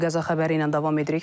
Qəza xəbəri ilə davam edirik.